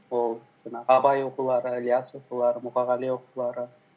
ол жаңағы абай оқулары ілияс оқулары мұқағали оқулары